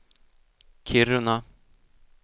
Kiruna